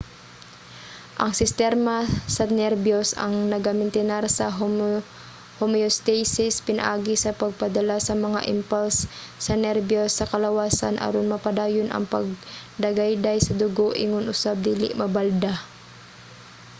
ang sistema sa nerbiyos ang nagamintinar sa homeostasis pinaagi sa pagpadala sa mga impulse sa nerbiyos sa kalawasan aron mapadayon ang pagdagayday sa dugo ingon usab dili mabalda